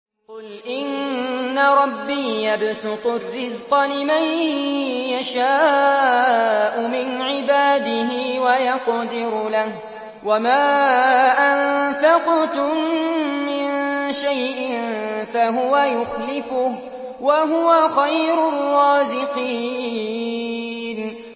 قُلْ إِنَّ رَبِّي يَبْسُطُ الرِّزْقَ لِمَن يَشَاءُ مِنْ عِبَادِهِ وَيَقْدِرُ لَهُ ۚ وَمَا أَنفَقْتُم مِّن شَيْءٍ فَهُوَ يُخْلِفُهُ ۖ وَهُوَ خَيْرُ الرَّازِقِينَ